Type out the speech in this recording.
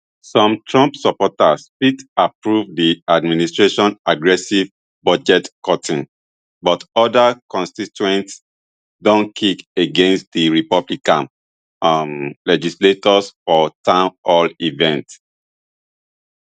some trump supporters fit approve di administration aggressive budgetcutting but oda constituents don kick against di republican um legislators for town hall events